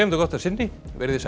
gott að sinni veriði sæl